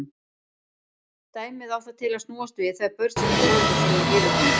Dæmið á það til að snúast við þegar börn sýna foreldrum sínum yfirgang.